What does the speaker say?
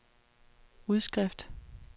udskrift